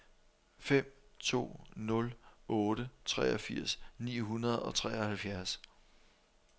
fem to nul otte treogfirs ni hundrede og treoghalvfjerds